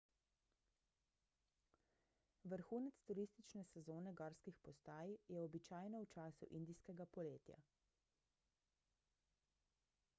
vrhunec turistične sezone gorskih postaj je običajno v času indijskega poletja